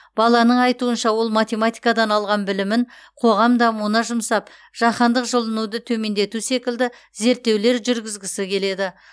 баланың айтуынша ол математикадан алған білімін қоғам дамуына жұмсап жаһандық жылынуды төмендету секілді зерттеулер жүргізгісі келеді